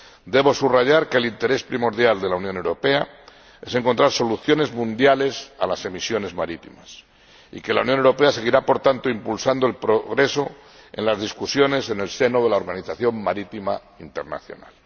Debo subrayar que el interés primordial de la Unión Europea es encontrar soluciones mundiales a las emisiones marítimas y que la Unión Europea seguirá, por tanto, impulsando el progreso en las discusiones en el seno de la Organización Marítima Internacional.